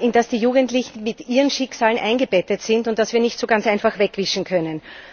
in das die Jugendlichen mit ihren Schicksalen eingebettet sind und das wir nicht so ganz einfach wegwischen können.